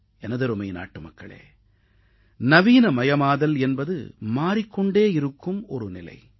எனதருமை நாட்டுமக்களே நவீனமயமாதல் என்பது மாறிக் கொண்டே இருக்கும் ஒரு நிலை